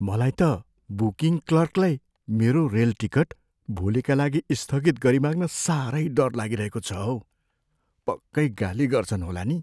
मलाई त बुकिङ क्लर्कलाई मेरो रेल टिकट भोलिका लागि स्थगित गरिमाग्न साह्रै डर लागिरहेको छ हौ। पक्कै गाली गर्छन् होला नि?